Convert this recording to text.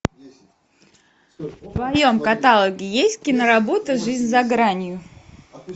в твоем каталоге есть киноработа жизнь за гранью